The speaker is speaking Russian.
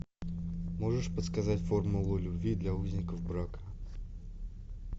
можешь подсказать формула любви для узников брака